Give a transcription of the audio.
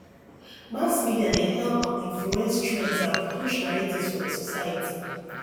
mass media dey help um influence trends and push narratives for the society